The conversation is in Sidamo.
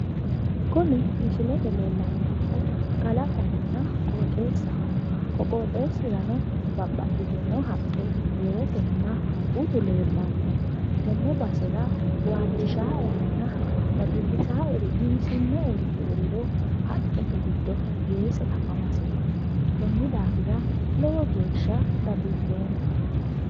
kuni misilte aana leellanni noohu kalaqonna qooxeessaho ko qooxeessirano babbaxitino haqqe weese utu leellanno tenne basera waajjishaaerinna dadillisaaeri giwisinoeri heeriro haqqete giddo weese afamaseeti konni daafira lowo geeshsha dadilloomma.